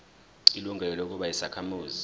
ilungelo lokuba yisakhamuzi